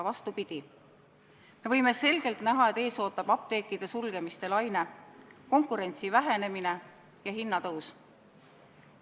Vastupidi, me võime selgelt näha, et ees ootab apteekide sulgemiste laine, konkurentsi vähenemine ja hinnatõus.